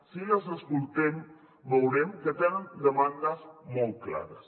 si les escoltem veurem que tenen demandes molt clares